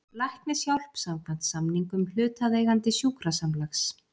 Læknishjálp samkvæmt samningum hlutaðeigandi sjúkrasamlags.